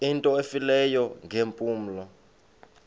into efileyo ngeempumlo